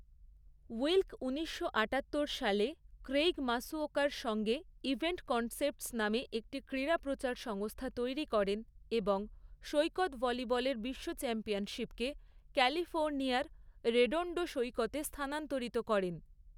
Wilk ঊনিশশো আটাত্তর সালে ক্রেইগ মাসুওকার সঙ্গে 'ইভেন্ট কনসেপ্টস' নামে একটি ক্রীড়া প্রচার সংস্থা তৈরী করেন এবং সৈকত ভলিবলের বিশ্ব চ্যাম্পিয়নশিপকে ক্যালিফোর্ণিয়ার রেডোণ্ডো সৈকতে স্থানান্তরিত করেন।